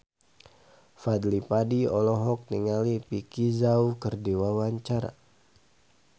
Fadly Padi olohok ningali Vicki Zao keur diwawancara